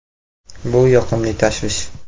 Bu yoqimli tashvish”.